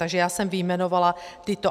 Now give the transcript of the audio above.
Takže já jsem vyjmenovala tyto.